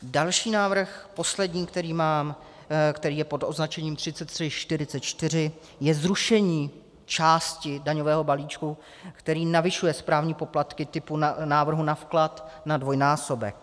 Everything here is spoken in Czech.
Další návrh, poslední, který mám, který je pod označením 3344, je zrušení části daňového balíčku, který navyšuje správní poplatky typu návrhu na vklad na dvojnásobek.